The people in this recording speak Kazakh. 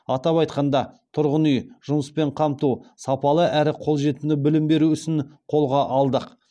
атап айтқанда тұрғын үй жұмыспен қамту сапалы әрі қолжетімді білім беру ісін қолға алдық